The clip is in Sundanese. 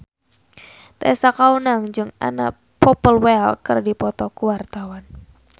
Tessa Kaunang jeung Anna Popplewell keur dipoto ku wartawan